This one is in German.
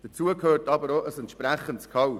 Dazu gehört aber auch ein entsprechendes Gehalt.